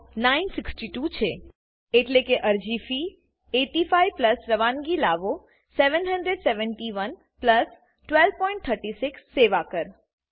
96200 છે એટલે કે અરજી ફી 8500 રવાનગી લાગો 77100 1236 સેવા કર